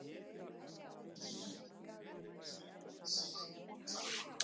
Lillý